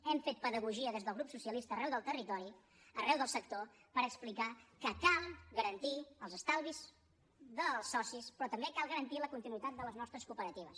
hem fet pedagogia des del grup socia lista arreu del territori arreu del sector per explicar que cal garantir els estalvis dels socis però també cal garantir la continuïtat de les nostres cooperatives